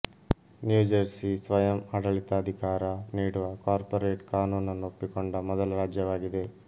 new Jersey ಸ್ವಯಂ ಆಡಳಿತಾಧಿಕಾರ ನೀಡುವ ಕಾರ್ಪೋರೆಟ್ ಕಾನೂನನ್ನು ಒಪ್ಪಿಕೊಂಡ ಮೊದಲ ರಾಜ್ಯವಾಗಿದೆ